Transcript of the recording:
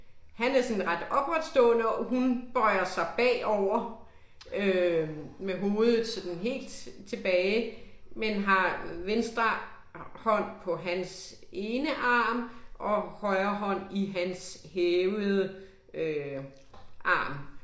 Han er sådan ret opretstående og hun bøjer sig bagover øh med hovedet sådan helt tilbage, men har venstre hånd på hans ene arm og højre hånd i hans hævede øh arm